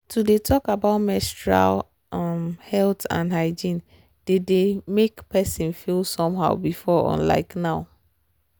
to dey talk about menstrual um health and hygiene dey dey make person feel somehow before unlike now.